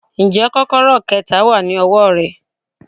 Ǹjẹ́ kọ́kọ́rọ́ kẹta wà ní ọwọ́ rẹ.